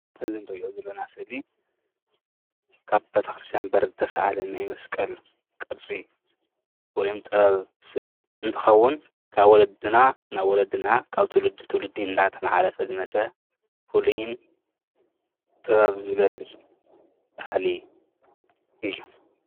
እዚ እንሪኦ ዘለና ስእሊ ካብ በሪ ቤተ ክርስትያን ዝተሰኣለ ናይ መስቀል ስእሊ ወይም ጥበብ ስእሊ እንትከውን ካብ ወለድና ናብ ወለድና ትውልዲ ናብ ትውልዲ እናተመሓላለፈ ዝመፀ ፍሉይን ጥበብ ዝገልፅ ባህሊ እዩ፡፡